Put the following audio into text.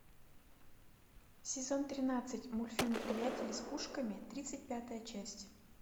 сезон тринадцать мультфильм приятели с пушками тридцать пятая часть